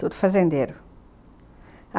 Tudo fazendeiro.